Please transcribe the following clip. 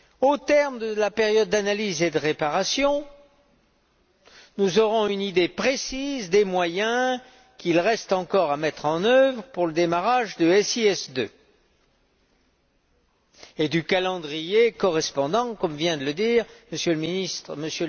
Au terme de la période d'analyse et de réparation, nous aurons une idée précise des moyens qu'il reste encore à mettre en œuvre pour le démarrage de SIS II et du calendrier correspondant, comme vient de le dire M.